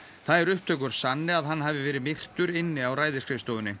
þær upptökur sanni að hann hafi verið myrtur inni á